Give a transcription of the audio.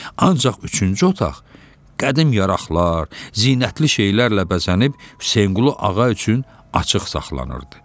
Ancaq üçüncü otaq qədim yaraqlar, zinətli şeylərlə bəzənib Hüseynqulu Ağa üçün açıq saxlanılırdı.